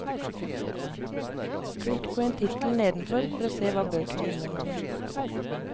Klikk på en tittel nedenfor for å se hva bøkene inneholder.